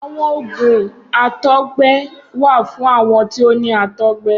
Awọn oògùn àtọ̀gbẹ wà fún àwọn tí ó ni àtọ̀gbẹ